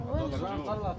Ay Allah, nədir?